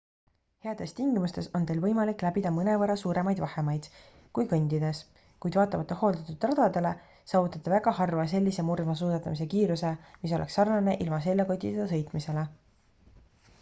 heades tingimustes on teil võimalik läbida mõnevõrra suuremaid vahemaid kui kõndides kuid vaatamata hooldatud radadele saavutate väga harva sellise murdmaasuusatamise kiiruse mis oleks sarnane ilma seljakotita sõitmisele